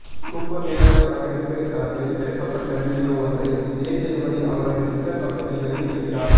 super Deluxe படப்பிடிப்பு தளத்தில் எடுக்கப்பட்ட வீடியோ ஒன்றை விஜய் சேதுபதி அவருடைய ட்விட்டர் பக்கத்தில் வெளியிட்டிருக்கிறார்